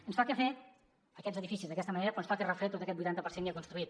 ens toca fer aquests edificis d’aquesta manera però ens toca refer tot aquest vuitanta per cent ja construït